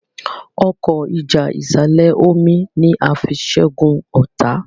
Ọkọ́ ìjà ìsàlẹ̀-omi ní a fí ṣẹgun ọta.